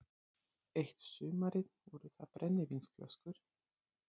Eitt sumarið voru það brennivínsflöskur